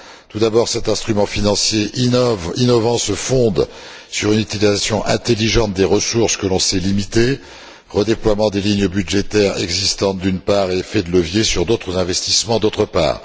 Tout d'abord cet instrument financier innovant se fonde sur une utilisation intelligente des ressources que l'on sait limitées redéploiement des lignes budgétaires existantes, d'une part, et effet de levier sur d'autres investissements, d'autre part.